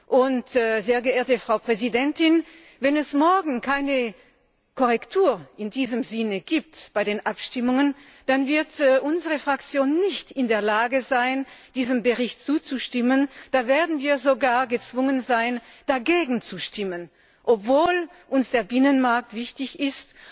Und, sehr geehrte Frau Präsidentin, wenn es morgen bei den Abstimmungen keine Korrektur in diesem Sinne gibt, dann wird unsere Fraktion nicht in der Lage sein, diesem Bericht zuzustimmen. Da werden wir sogar gezwungen sein, dagegen zu stimmen obwohl uns der Binnenmarkt wichtig